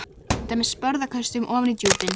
Orðin synda með sporðaköstum ofan í djúpinu.